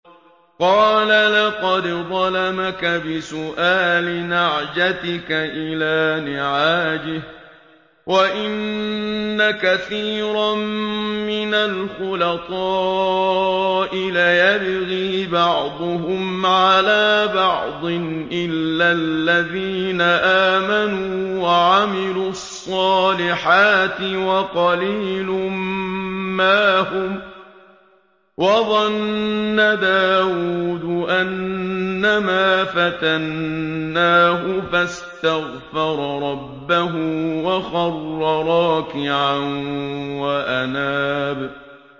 قَالَ لَقَدْ ظَلَمَكَ بِسُؤَالِ نَعْجَتِكَ إِلَىٰ نِعَاجِهِ ۖ وَإِنَّ كَثِيرًا مِّنَ الْخُلَطَاءِ لَيَبْغِي بَعْضُهُمْ عَلَىٰ بَعْضٍ إِلَّا الَّذِينَ آمَنُوا وَعَمِلُوا الصَّالِحَاتِ وَقَلِيلٌ مَّا هُمْ ۗ وَظَنَّ دَاوُودُ أَنَّمَا فَتَنَّاهُ فَاسْتَغْفَرَ رَبَّهُ وَخَرَّ رَاكِعًا وَأَنَابَ ۩